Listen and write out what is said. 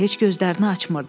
Heç gözlərini açmırdı.